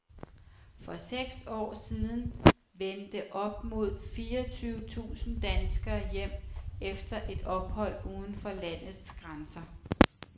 For seks år siden vendte op mod fireogtyve tusinde danskere hjem efter et ophold uden for landets grænser.